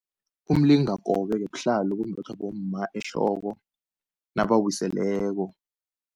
Umlingakobe-ke buhlalo obumbathwa bomma ehloko nabawiseleko.